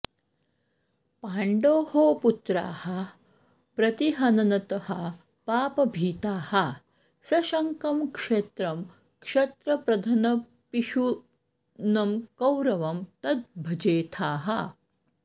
पाण्डोः पुत्राः प्रतिहननतः पापभीताः सशङ्कं क्षेत्रं क्षत्रप्रधनपिशुनं कौरवं तद् भजेथाः